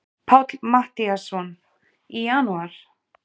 Páll Matthíasson: Í janúar?